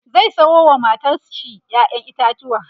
zai Sayo wa matar shi ƴaƴan itatauwa